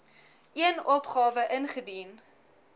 een opgawe ingedien